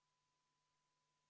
Helle-Moonika Helme, palun!